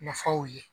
Nafaw ye